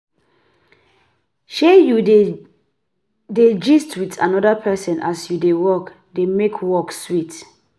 Sey you dey dey gist with another person as you dey work dey make work sweet